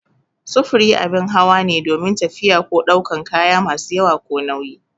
Sufuri abin hawa ne domin tafiya ko daukan kaya masu yawa ko nauyi